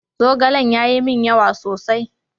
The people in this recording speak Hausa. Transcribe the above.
Zogalen ya yi min yawa sosai.